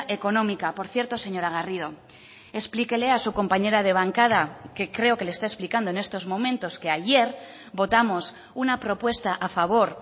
económica por cierto señora garrido explíquele a su compañera de bancada que creo que le está explicando en estos momentos que ayer votamos una propuesta a favor